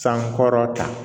San wɔɔrɔ ta